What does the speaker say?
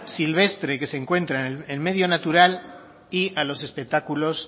silvestre que se encuentra en el medio natural y a los espectáculos